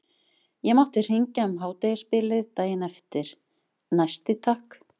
Ég mátti hringja um hádegisbilið daginn eftir, næsti takk!